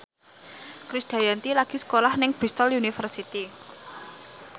Krisdayanti lagi sekolah nang Bristol university